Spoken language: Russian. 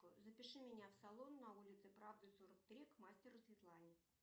запиши меня в салон на улице правды сорок три к мастеру светлане